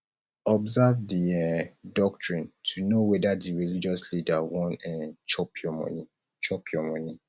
observe di um doctrine to know whether di religious leader wan um chop your money chop your money